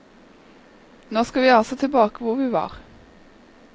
Nå skal vi altså tilbake til hvor vi var.